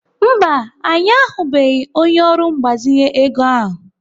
Mba, anyị ahụbeghị onye ọrụ mgbazinye ego ahụ.